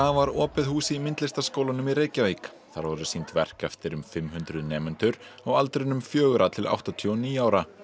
var opið hús í Myndlistarskólanum í Reykjavík þar voru sýnd verk eftir um fimm hundruð nemendur á aldrinum fjögurra til áttatíu og níu ára